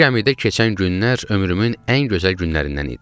Bu gəmidə keçən günlər ömrümün ən gözəl günlərindən idi.